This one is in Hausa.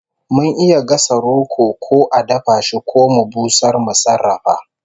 Mun iya gasa roko ko a dafa shi ko mu busar mu sarrafa